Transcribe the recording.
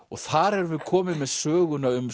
og þar erum við komin með söguna um